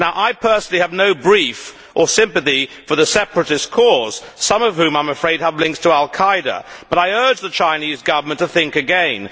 I personally have no brief or sympathy for the separatist cause, some of whose supporters, I am afraid, have links to al Qaeda, but I urge the Chinese Government to think again.